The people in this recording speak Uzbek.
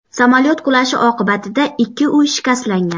Samolyot qulashi oqibatida ikki uy shikastlangan.